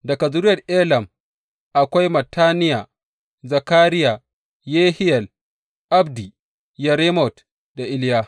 Daga zuriyar Elam, akwai Mattaniya, Zakariya, Yehiyel, Abdi, Yeremot, da Iliya.